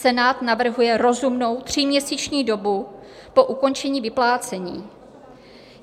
Senát navrhuje rozumnou tříměsíční dobu po ukončení vyplácení.